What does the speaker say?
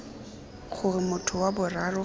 gore motho wa boraro ga